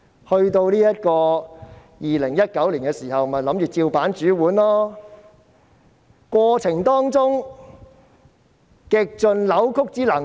他們在2019年仍然想依樣葫蘆，在過程中極盡扭曲之能事。